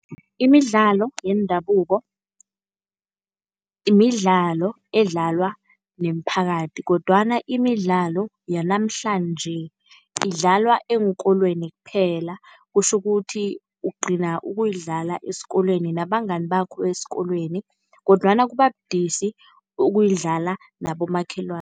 Imidlalo yendabuko, midlalo edlalwa nemiphakathi kodwana imidlalo yanamhlanje idlalwa eenkolweni kphela. Kutjho ukuthi ugcina ukuyidlala esikolweni nabangani bakho esikolweni kodwana kuba budisi ukuyidlala nabokhelwani.